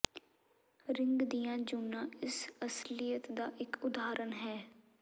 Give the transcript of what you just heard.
ring ਦੀਆਂ ਜੂਨਾਂ ਇਸ ਅਸਲੀਅਤ ਦਾ ਇੱਕ ਉਦਾਹਰਨ ਹੈ